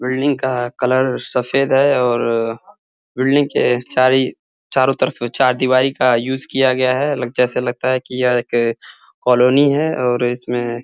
building का colour सफ़ेद है और बिल्डिंग के चारी चारो तरफ चार दीवारी का यूज़ किया गया है जैसे लगता है की यह एक कॉलोनी है और इसमें --